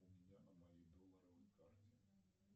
у меня на моей долларовой карте